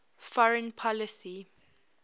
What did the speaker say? foreign policy